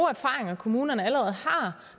erfaringer kommunerne allerede har